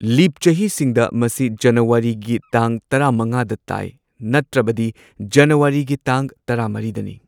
ꯂꯤꯞ ꯆꯍꯤꯁꯤꯡꯗ ꯃꯁꯤ ꯖꯅꯨꯋꯥꯔꯤꯒꯤ ꯇꯥꯡ ꯇꯔꯥꯃꯉꯥꯗ ꯇꯥꯏ ꯅꯠꯇ꯭ꯔꯕꯗꯤ ꯖꯅꯨꯋꯥꯔꯤꯒꯤ ꯇꯥꯡ ꯇꯔꯥꯃꯔꯤꯗꯅꯤ꯫